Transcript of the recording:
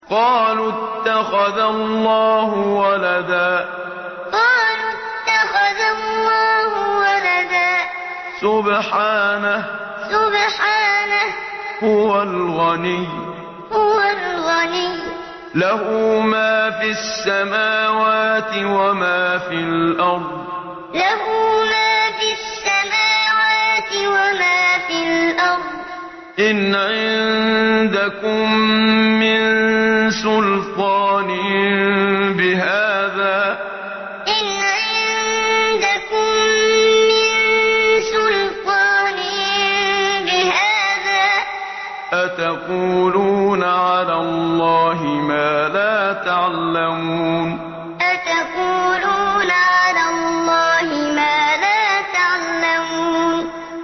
قَالُوا اتَّخَذَ اللَّهُ وَلَدًا ۗ سُبْحَانَهُ ۖ هُوَ الْغَنِيُّ ۖ لَهُ مَا فِي السَّمَاوَاتِ وَمَا فِي الْأَرْضِ ۚ إِنْ عِندَكُم مِّن سُلْطَانٍ بِهَٰذَا ۚ أَتَقُولُونَ عَلَى اللَّهِ مَا لَا تَعْلَمُونَ قَالُوا اتَّخَذَ اللَّهُ وَلَدًا ۗ سُبْحَانَهُ ۖ هُوَ الْغَنِيُّ ۖ لَهُ مَا فِي السَّمَاوَاتِ وَمَا فِي الْأَرْضِ ۚ إِنْ عِندَكُم مِّن سُلْطَانٍ بِهَٰذَا ۚ أَتَقُولُونَ عَلَى اللَّهِ مَا لَا تَعْلَمُونَ